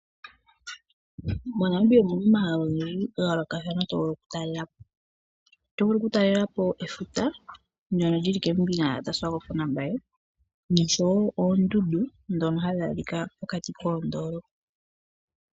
MoNamibia omu na omahala ogendji ngoka to vulu okutalela po ngaashi efuta ndyono lili moSwakpmund nomoWalvis Bay oshowo oondundu ndhoka tadhi adhika pokati koondolopa.